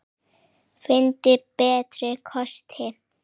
Finndu betri kosti!